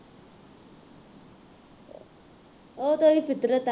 ਉਹ ਤਾਂ ਉਹਦੀ ਫਿਤਰਤ ਹੈ